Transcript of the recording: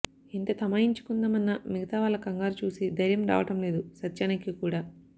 ఎంత తమాయించుకుందాం అన్నా మిగతా వాళ్ల కంగారు చూసి ధైర్యం రావడం లేదు సత్యానికి కూడా